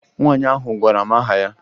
Nwaanyị ahụ gwara m aha ya